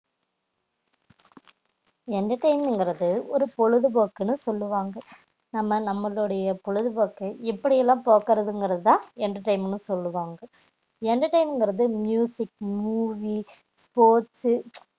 entertainment என்பது ஒரு பொழுதுபோக்குன்னு சொல்லுவாங்க ஆனால் நம்ம நம்மளுடையே பொழுதுபோக்கு எப்படி லாம் போக்குறது தான் entertainment னு சொல்லுவாங்க entertainment என்பது movie sports சு